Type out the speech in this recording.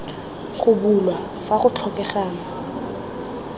go bulwa fa go tlhokegang